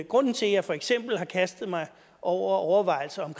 grunden til at jeg for eksempel har kastet mig over overvejelser om